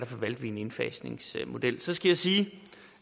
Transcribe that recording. valgte vi en indfasningsmodel så skal jeg sige